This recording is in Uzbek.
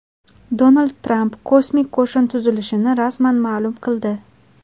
Donald Tramp kosmik qo‘shin tuzilishini rasman ma’lum qildi.